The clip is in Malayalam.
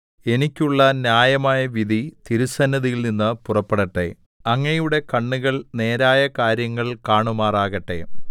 എനിക്കുള്ള ന്യായമായ വിധി തിരുസന്നിധിയിൽനിന്ന് പുറപ്പെടട്ടെ അങ്ങയുടെ കണ്ണുകൾ നേരായ കാര്യങ്ങൾ കാണുമാറാകട്ടെ